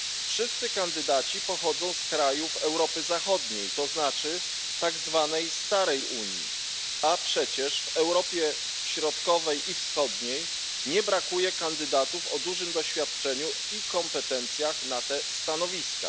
Wszyscy kandydaci pochodzą z krajów Europy Zachodniej to znaczy tak zwanej starej Unii, a przecież w Europie Środkowej i Wschodniej nie brakuje kandydatów o dużym doświadczeniu i kompetencjach na te stanowiska.